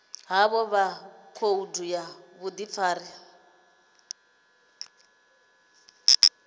havho kha khoudu ya vhudifari